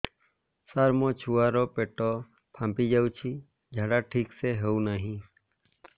ସାର ମୋ ଛୁଆ ର ପେଟ ଫାମ୍ପି ଯାଉଛି ଝାଡା ଠିକ ସେ ହେଉନାହିଁ